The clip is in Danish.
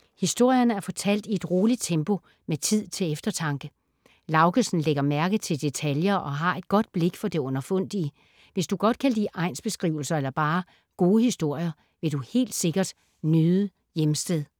Historierne er fortalt i et roligt tempo med tid til eftertanke. Laugesen lægger mærke til detaljer og har et godt blik for det underfundige. Hvis du godt kan lide egnsbeskrivelser eller bare gode historier, vil du helt sikkert nyde Hjemsted.